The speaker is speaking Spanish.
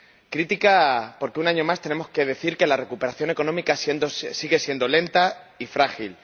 Crítica, porque un año más tenemos que decir que la recuperación económica sigue siendo lenta y frágil.